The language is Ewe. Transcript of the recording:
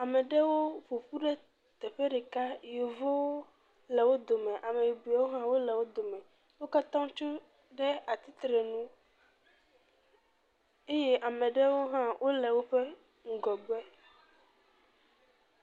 Ame ɖewo ƒoƒu teƒe ɖeka, yevuwo le wo dome ameyibɔwo ha le wo dome, wo katã tso ɖe atete nu eye ame ɖewo hã wole woƒe ŋgɔgbe.